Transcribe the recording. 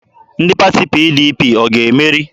Ndị pati PDP ọ ga-emeri?